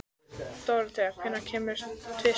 Dorothea, hvenær kemur tvisturinn?